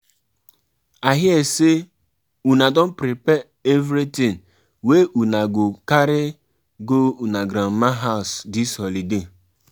E no dey easy to be submissive wife as dem take talk for church.